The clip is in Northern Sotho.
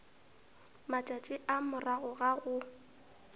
matšatši a morago ga go